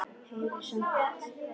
Heyrir samt.